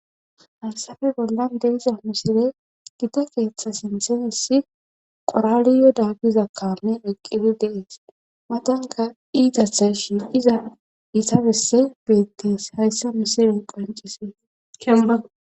Halsafe bollan de iza misire gida keeththa sinseesi qoraliyo daggiza kame eqqibi deees matanka iita seshi iza iisabesse beettes hayssa misiren qancisin kemma